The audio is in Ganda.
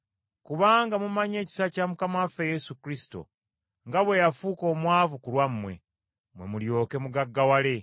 Kubanga mumanyi ekisa kya Mukama waffe Yesu Kristo nga bwe yafuka omwavu ku lwammwe, mwe mulyoke mugaggawale.